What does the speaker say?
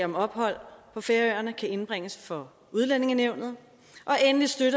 ophold på færøerne skal indbringes for udlændingenævnet